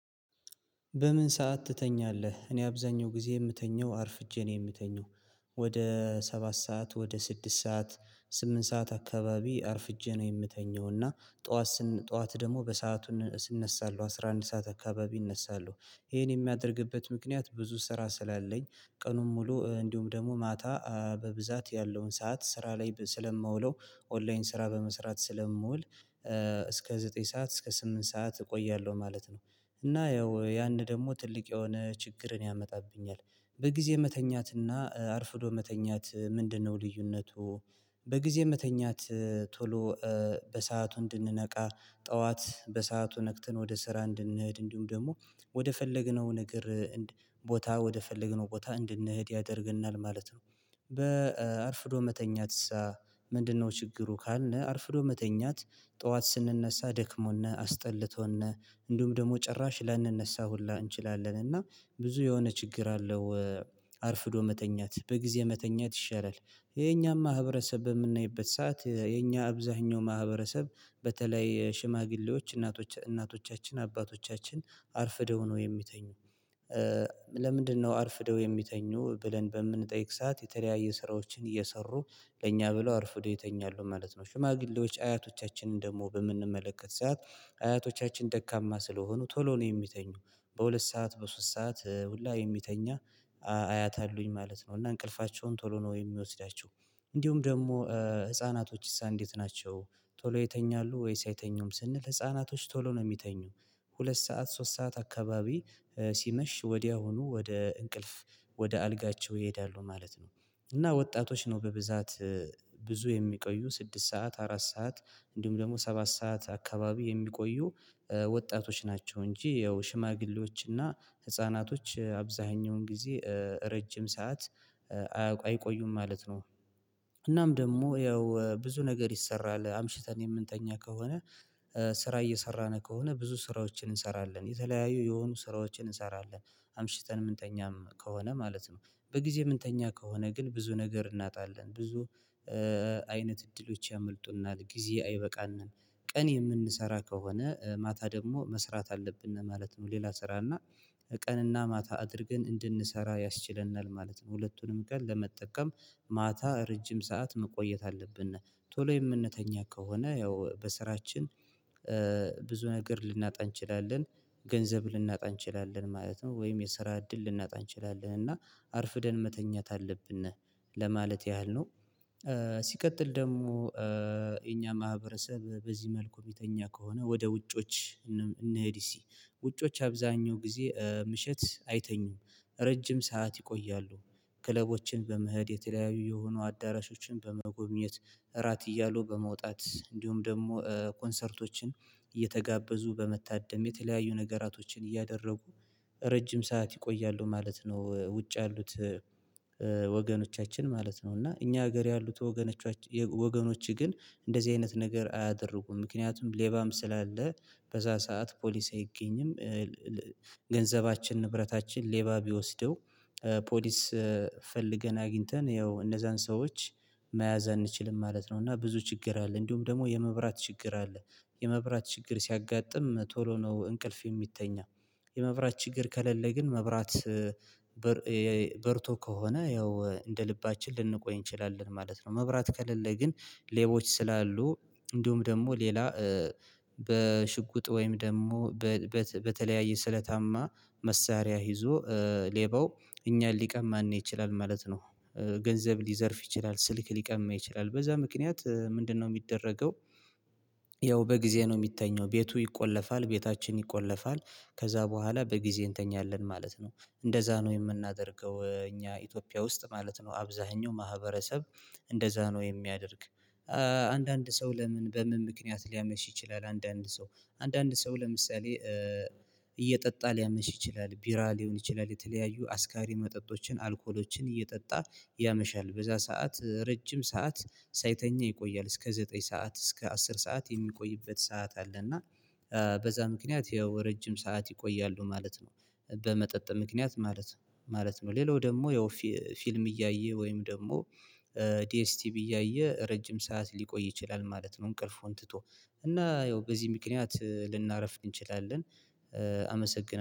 በምን ሰዓት ትተኛለህ? እኔ አብዛኛው ጊዜ የምተኘው አርፍጄ ነው የምተኘው ወደ ሰባት ሰዓት ወደ ስድስት ሰዓት ስምንት ሰዓት አካባቢ አርፍጄ ነው የምተኘው እና ጠዋት ጠዋት ደግሞ በሰአቱ እነሳለሁ አስራ አንድ ሰዓት አካባቢ እነሳለሁ። ይሄን የሚያደርግበት ምክንያት ብዙ ስራ ስላለኝ ቀኑን ሙሉ እንዲሁም ደግሞ ማታ በብዛት ያለውን ሰዓት ስራ ላይ ስለምውለው ኦንላይን ስራ በመስራት ስለምውል። እስከ ዘጠኝ ሰዓት እስከ ስምንት ሰዓት እቆያለሁ ማለት ነው። እና ያው ያን ደግሞ ትልቅ የሆነ ችግርን ያመጣብኛል። በጊዜ መተኛትና አርፍዶ መተኛት ምንድነው ልዩነቱ? በጊዜ የምተኛት ቶሎ በሰአቱ እንድንነቃ ጠዋት በሰአቱ ነክተን ወደ ስራ እንድንሄድ እንዲሁም ደግሞ ወደ ፈለግነው ነገር ቦታ ወደ ፈለግነው ቦታ እንድንሄድ ያደርግናል ማለት ነው። በአርፍዶ መተኛት ምንድነው? ችግሩ ካልነህ አርፍዶ መተኛት ጠዋት ስንነሳ ደክሞና አስጠልቶና እንዲሁም ደግሞ ጭራሽ ላንነሳ ሁላ እንችላለን እና ብዙ የሆነ ችግር አለው አርፍዶ መተኛት በጊዜ መተኛት ይሻላል። ይሄ ማህበረሰብ በምናይበት ሰዓት የኛ አብዛኛው ማህበረሰብ በተለይ ሽማግሌዎች እናቶቻችን አባቶቻችን አርፍደው ነው የሚተኙ። ለምንድነው? አርፍደው የሚተኙ ብለን በምንጠይቅ ሰዓት የተለያየ ስራዎችን እየሰሩ ለእኛ ብለው አርፍደው ይተኛሉ ማለት ነው። ሽማግሌዎች አያቶቻችንን ደግሞ በምንመለከት ሰዓት አያቶቻችን ደካማ ስለሆኑ ቶሎ ነው የሚተኙ። በሁለት ሰዓት በሶስት ሰዓት ሁላ የሚተኛ አያት አሉኝ ማለት ነው። እና እንቅልፋቸውን ቶሎ ነው የሚወስዳቸው እንዲሁም ደግሞ ህፃናቶችስ? እንዴት ናቸው? ቶሎ ይተኛሉ ወይስ አይተኙም ስንል ህፃናቶች ቶሎ ነው የሚተኙ። ሁለት ሰዓት ሶስት ሰዓት አካባቢ ሲመሽ ወዲያውኑ ወደ እንቅልፍ ወደ አልጋቸው ይሄዳሉ ማለት ነው። እና ወጣቶች ነው በብዛት ብዙ የሚቆዩ ስድስት ሰዓት አራት ሰዓት እንዲሁም ደግሞ ሰባት ሰዓት አካባቢ የሚቆዩ ወጣቶች ናቸው እንጂ ያው ሽማግሌዎችና ህፃናቶች አብዛኛውን ጊዜ ረጅም ሰዓት አይቆዩም ማለት ነው። እናም ደግሞ ያው ብዙ ነገር ይሰራል አምሽተን የምንተኛ ከሆነ ስራ እየሰራን ከሆነ ብዙ ስራዎችን እንሰራለን የተለያዩ የሆኑ ስራዎችን እንሰራለን። አምሽተን ምንተኛም ከሆነ ማለት ነው። በጊዜ የምንተኛ ከሆነ ግን ብዙ ነገር እናጣለን ብዙ አይነት እድሎች ያመልጡናል ጊዜ አይበቃንም። ቀን የምንሰራ ከሆነ ማታ ደግሞ መስራት አለብን ማለት ነው። ሌላ ስራና ቀንና ማታ አድርገን እንድንሰራ ያስችለናል ማለት ነው። ሁለቱንም ቀን ለመጠቀም ማታ ረጅም ሰዓት መቆየት አለብን ቶሎ የምንተኛ ከሆነ ያው በስራችን ብዙ ነገር ልናጣ እንችላለን። ገንዘብ ልናጣ እንችላለን ማለት ነው ወይም የሰራ እድል ልናጣ እንችላለን እና አርፍደን መተኛት አለብን ነህ ለማለት ያህል ነው። ሲቀጥል ደግሞ የኛ ማህበረሰብ በዚህ መልኩ የሚተኛ ከሆነ ወደ ውጮች እንሄድ ሲ ውጮች አብዛኛው ጊዜ ምሽት አይተኙም። ረጅም ሰዓት ይቆያሉ ክለቦችን በመሄድ የተለያዩ የሆኑ አዳራሾችን በመጎብኘት እራት እያሉ በመውጣት እንዲሁም ደግሞ ኮንሰርቶችን እየተጋበዙ በመታደም የተለያዩ ነገራቶችን እያደረጉ ረጅም ሰዓት ይቆያሉ ማለት ነው። ውጭ ያሉት ወገኖቻችን ማለት ነው እና እኛ ሀገር ያሉት ወገኖቻችን ወገኖች ግን እንደዚህ አይነት ነገር አያደርጉም ምክንያቱም ሌባም ስላለ በዛ ሰዓት ፖሊስ አይገኝም። ገንዘባችን ንብረታችን ሌባ ቢወስደው ፖሊስ ፈልገን አግኝተን ያው እነዛን ሰዎች መያዝ አንችልም ማለት ነው። እና ብዙ ችግር አለ እንዲሁም ደግሞ የመብራት ችግር አለ። የመብራት ችግር ሲያጋጥም ቶሎ ነው እንቅልፍ የሚተኛ የመብራት ችግር ከለሌ ግን መብራት በርቶ ከሆነ ያው እንደ ልባችን ልንቆይ እንችላለን ማለት ነው። መብራት ከሌለ ግን ሌቦች ስላሉ እንዲሁም ደግሞ ሌላ በሽጉጥ ወይም ደግሞ በተለያየ ስለታማ መሳሪያ ይዞ ሌባው እኛን ሊቀማን ይችላል ማለት ነው። ገንዘብ ሊዘርፍ ይችላል ስልክ ሊቀማ ይችላል በዛ ምክንያት ምንድነው የሚደረገው? ያው በጊዜ ነው የሚተኘው ቤቱ ይቆለፋል ቤታችን ይቆለፋል ከዛ በኋላ በጊዜ እንተኛለን ማለት ነው። እንደዛ ነው የምናደርገው እኛ ኢትዮጵያ ውስጥ ማለት ነው አብዛኛው ማህበረሰብ እንደዛ ነው የሚያደርግ። አንዳንድ ሰው ለምን በምን ምክንያት ሊያመሽ ይችላል። አንዳንድ ሰው አንዳንድ ሰው ለምሳሌ እየጠጣ ሊያመሽ ይችላል። ቢራ ሊሆን ይችላል የተለያዩ አስካሪ መጠጦችን አልኮሎችን እየጠጣ ያመሻል በዛ ሰዓት ረጅም ሰዓት ሳይተኛ ይቆያል እስከ ዘጠኝ ሰዓት እስከ አስር ሰዓት የሚቆይበት ሰዓት አለ። እና በዛ ምክንያት ይኸው ረጅም ሰዓት ይቆያሉ ማለት ነው። በመጠጥ ምክንያት ማለት ነው ማለት ነው ሌላው ደግሞ ያው ፊልም እያየ ወይም ደግሞ ዲኤስቲቭ እያየ ረጅም ሰዓት ሊቆይ ይችላል ማለት ነው። እንቅልፉን ትቶ እና ያው በዚህ ምክንያት ልናረፍ እንችላለን። አመሰግናለሁ